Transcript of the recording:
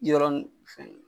Yɔrɔ nin segin .